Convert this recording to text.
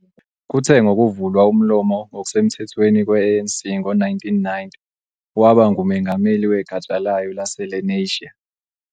Kuthe ngokuvulwa umlomo ngokusemthethweni kwe-ANC ngo-1990, waba ngumengameli wegatsha layo laseLenasia.